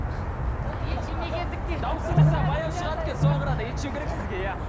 ол ет жемегендіктен даусыңыз баяу шығады екен соған қарағанда ет жеу керек сізге иә